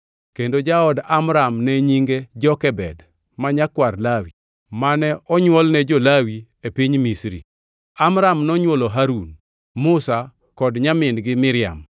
kendo jaod Amram ne nyinge Jokebed, ma nyakwar Lawi, mane onywol ne jo-Lawi e Piny Misri. Amram nonywolo Harun, Musa kod nyamin-gi Miriam.